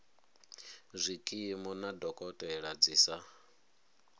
zwikimu na dokotela dzi sa